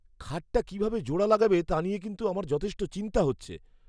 খাটটা কিভাবে জোড়া লাগাবে তা নিয়ে কিন্তু আমার যথেষ্ট চিন্তা হচ্ছে।